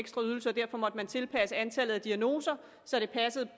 ekstra ydelser og derfor måtte man tilpasse antallet af diagnoser så det passede